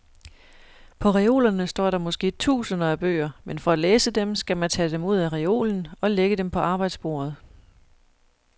På reolerne står der måske tusinder af bøger, men for at læse dem, skal man tage dem ud af reolen og lægge på arbejdsbordet.